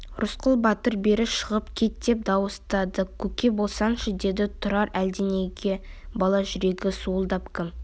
рысқұл батыр бері шығып кет деп дауыстады көке болсаңшы деді тұрар әлденеге бала жүрегі суылдап кім